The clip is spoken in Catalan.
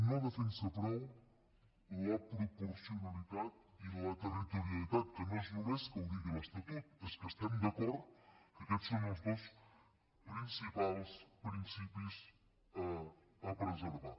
no defensa prou la proporcionalitat i la territorialitat que no és només que ho digui l’estatut és que estem d’acord que aquests són els dos principals principis a preservar